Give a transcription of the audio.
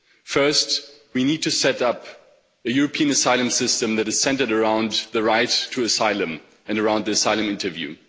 First, we need to set up a European asylum system that is centred around the right to asylum and around the asylum interview.